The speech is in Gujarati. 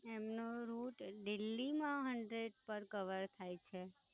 એમનો Rut દિલ્હી માં Rut પર કવર થાય છે.